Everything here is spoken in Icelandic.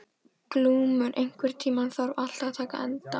Glúmur, einhvern tímann þarf allt að taka enda.